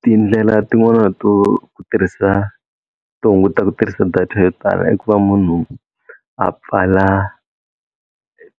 Tindlela tin'wana to tirhisa to hunguta ku tirhisa data yo tala i ku va munhu a pfala